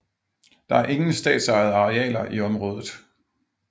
Der er ingen statsejede arealer i området